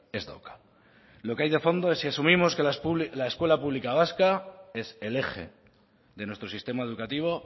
ez dauka lo que hay de fondo es si asumimos que la escuela pública vasca es el eje de nuestro sistema educativo